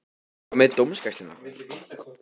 Hvað með dómgæsluna?